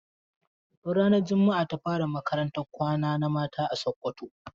Tun ranar jumaa ta fara makarantan kwana na mata a Sokoto.